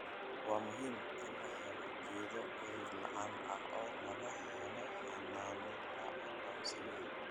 Waa muhiim in la helo geedo cudur-la'aan ah oo laga helo xannaano la aqoonsan yahay.